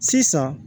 Sisan